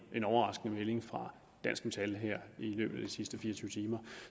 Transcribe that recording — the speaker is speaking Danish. en overraskende melding fra dansk metal i løbet af de sidste fire og tyve timer